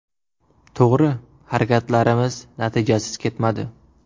To‘g‘ri, harakatlarimiz natijasiz ketmadi.